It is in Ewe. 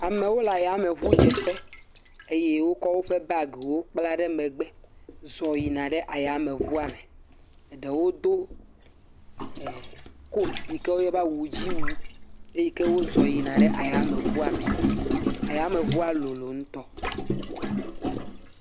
Amewo le ayameŋudzeƒe. Eye wokɔ woƒe bagiwo kpla ɖe megbe zɔ yina ɖe ayameŋua me. Eɖewo do koti si ke woyɔna be awudziwu. Eyi ke wozɔ yina ayameŋua me. Ayameŋua lolo ŋutɔ.